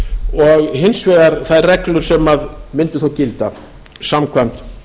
og hins vegar þær reglur sem myndu þó gilda samkvæmt